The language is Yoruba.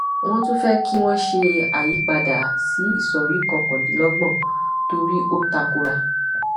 wọn tún fẹ kí wọn ṣe àyípadà sí ìsọrí kọkàndínlọgbọn torí ó takora